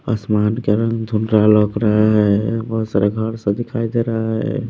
आसमान के रंग धुंधला लग रहा है बहुत सारे घर सा दिखाई दे रहा है।